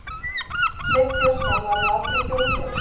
Sveinn Björnsson var nú aldrei þjóðkjörinn.